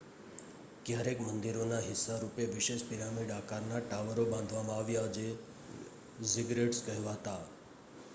ક્યારેક મંદિરોના હિસ્સા રૂપે વિશેષ પિરામિડ આકારના ટાવરો બાંધવામાં આવ્યાં જે ઝિગરેટ્સ કહેવાતા